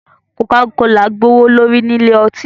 coca-cola gbe owole ri ní Ilé-ọtí.